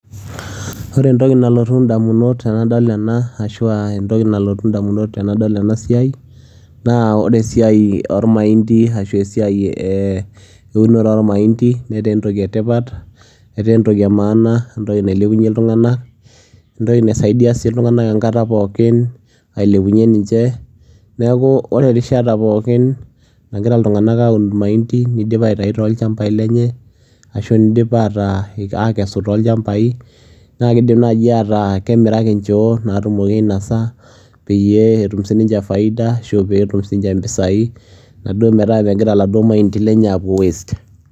Wore entoki nalotu endamunot tenadol enaa arashua entoki nalotu endamunot tenadol enaa siai naa wore esiai ormaindi ashu esiai eeh eunore ormaindi netaa entoki etipat , etaa entoki etipat nailepunye iltunganak entoki naisaidia sii iltunganak enkata pookin ailepunye ninje. Niaku wore erishata pookin nagira iltunganak aun irmaindi nidip aitayu too ilchampai lenye ashu nidip ataa akesu too ilchampai , naa kidim naaji ataa kemiraki injoo natumoki ainosa peyie etum siininje faida ashu peetum siininje impisai naduo megira iladuo maindi lenye apuo waste.